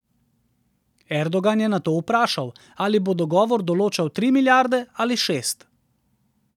Erdogan je nato vprašal, ali bo dogovor določal tri milijarde ali šest.